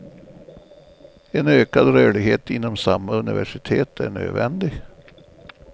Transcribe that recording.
En ökad rörlighet inom samma universitet är nödvändig.